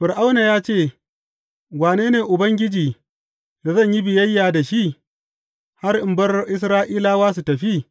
Fir’auna ya ce, Wane ne Ubangiji da zan yi biyayya da shi, har in bar Isra’ila su tafi?